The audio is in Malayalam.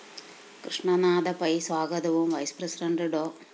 കൃഷ്ണനാഥപൈ സ്വാഗതവും വൈസ്‌ പ്രസിഡണ്ട് ഡോ